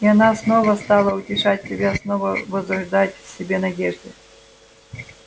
и она снова стала утешать себя снова возрождать в себе надежды